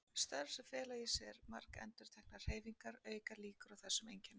Störf sem fela í sér margendurteknar hreyfingar auka líkur á þessum einkennum.